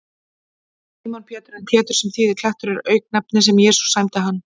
Símon Pétur, en Pétur, sem þýðir klettur, er auknefni sem Jesús sæmdi hann.